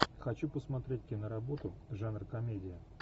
хочу посмотреть киноработу жанр комедия